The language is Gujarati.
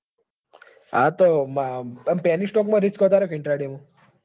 હા તો penny stock માં risk વધારે કે intraday મોં.